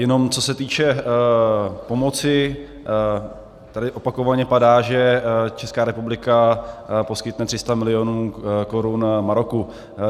Jen co se týče pomoci tady opakovaně padá, že Česká republika poskytne 300 milionů korun Maroku.